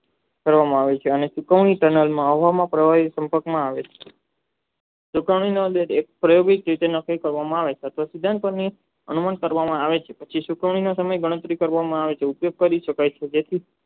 કરવામાં આવે છે અને સુકાવાની આવામાં છે સુકવણી પ્રાયોગિક કરવામાં આવે છે પછી સુકવણીમાં તેમની ગણત્રીકરવામાં આવે છે તે કરી શકાય છે